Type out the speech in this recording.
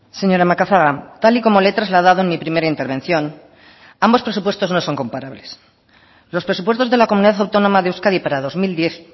señora macazaga tal y como le he trasladado en mi primera intervención ambos presupuestos no son comparables los presupuestos de la comunidad autónoma de euskadi para dos mil diez